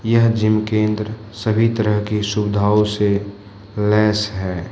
यह जिम केंद्र सभी तरह की सुविधाओं से लैस है।